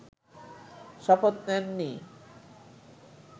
শপথ নেননি